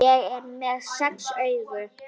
Ég er með sex augu.